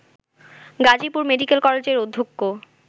Gazipur medical কলেজের অধ্যক্ষ